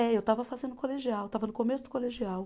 É, eu estava fazendo colegial, estava no começo do colegial.